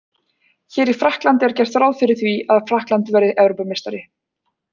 Hér í Frakklandi er gert ráð fyrir því að Frakkland verði Evrópumeistari.